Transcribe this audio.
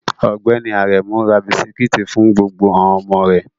Ọgbẹni Aremu ra bisikiti fun gbogbo awon omo re